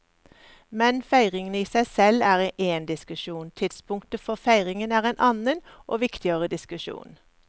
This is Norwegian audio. Men feiringen i seg selv er én diskusjon, tidspunktet for feiringen er en annen og viktigere diskusjon.